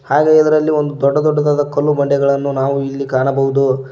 ಹಾಗೆ ಇದರಲ್ಲಿ ಒಂದು ದೊಡ್ಡ ದೊಡ್ಡದಾದ ಕಲ್ಲು ಬಂಡೆಗಳನ್ನು ನಾವು ಇಲ್ಲಿ ಕಾಣಬಹುದು.